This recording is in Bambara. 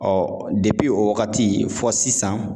Ɔɔ o wagati fɔ sisan